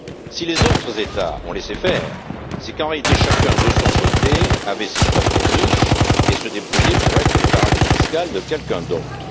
Si les autres États ont laissé faire, c'est qu'en réalité, chacun de son côté avait ses propres niches et se débrouillait pour être le paradis fiscal de quelqu'un d'autre.